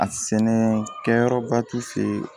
A sɛnɛ kɛyɔrɔba t'u fɛ ye